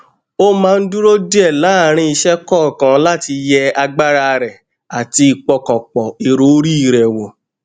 ó máa ń dúró díè láàárín iṣé kòòkan láti yẹ agbára rẹ àti ìpọkàn pọ èrò orí rẹ wọ